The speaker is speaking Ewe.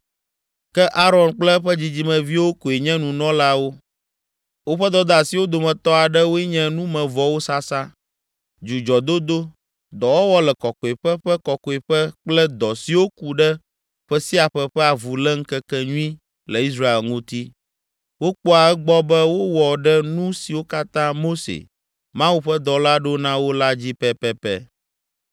Ke Aron kple eƒe dzidzimeviwo koe nye nunɔlawo. Woƒe dɔdeasiwo dometɔ aɖewoe nye numevɔwo sasa, dzudzɔdodo, dɔwɔwɔ le Kɔkɔeƒe ƒe Kɔkɔeƒe kple dɔ siwo ku ɖe ƒe sia ƒe ƒe Avuléŋkekenyui le Israel ŋuti. Wokpɔa egbɔ be wowɔ ɖe nu siwo katã Mose, Mawu ƒe dɔla ɖo na wo la dzi pɛpɛpɛ.